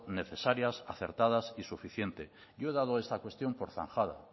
necesarias acertadas y suficientes yo he dado esta cuestión por zanjada